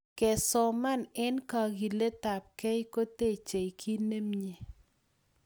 Kesoman eng kakiletapkei kotechei kit nemie